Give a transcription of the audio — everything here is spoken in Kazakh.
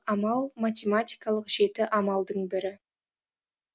амал математикалық жеті амалдың бірі